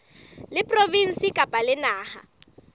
la provinse kapa la naha